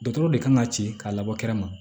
Dɔtɔrɔ de kan ka ci k'a labɔ kɛrɛ ma